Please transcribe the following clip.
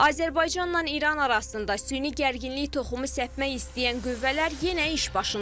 Azərbaycanla İran arasında süni gərginlik toxumu səpmək istəyən qüvvələr yenə iş başındadır.